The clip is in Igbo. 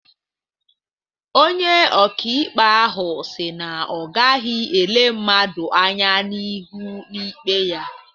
Onye ọka ikpe ahụ si na ọ gaghị ele mmadụ anya n'ihu na ikpe ya